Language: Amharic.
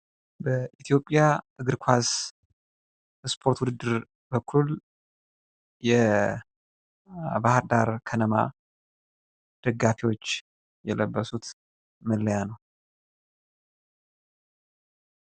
የኢትዮጵያ እግር ኳስ ውድድር የባህር ዳር ከነማ ደጋፊዎች የለበሱት መለያ ነው ።